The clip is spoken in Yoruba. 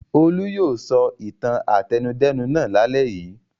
Olú yóò sọ ìtàn àtẹnudẹ́nu náà lálẹ́ yìí!